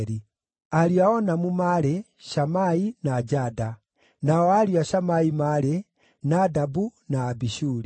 Ariũ a Onamu maarĩ: Shamai na Jada. Nao ariũ a Shamai maarĩ: Nadabu na Abishuri.